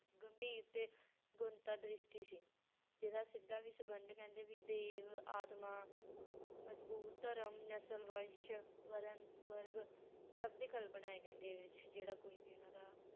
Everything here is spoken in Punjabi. ਗੰਭੀਰ ਤੇ ਗੁਣਤਾ ਦ੍ਰਿਸ਼ਟੀ ਸੀ ਜਿਹਦਾ ਸਿੱਧਾ ਵੀ ਸੰਬੰਧ ਕਹਿੰਦੇ ਵੀ ਦੇਵ, ਆਤਮਾ, ਮਜ਼ਬੂਤ ਧਰਮ, ਨਸ਼ਲ ਵੰਸ਼, ਵਰਨ, ਵਰਗ ਸਭ ਦੀ ਕਲਪਨਾ ਹੈ ਕਹਿੰਦੇ ਇਹਦੇ ਵਿੱਚ ਜਿਹੜਾ ਕੋਈ ਵੀ ਉਹਨਾਂ ਦਾ